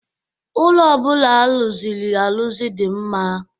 Ụlọ ọ bụla a rụzịrị arụzụ dị m mma.